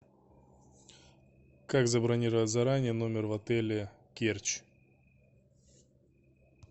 как забронировать заранее номер в отеле керчь